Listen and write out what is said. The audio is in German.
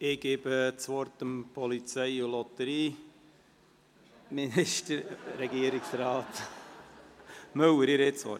Ich erteile das Wort dem Polizei- und Lotterieminister, Regierungsrat Müller.